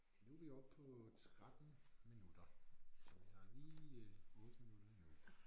Nu vi oppe på 13 minutter så der er lige 8 minutter endnu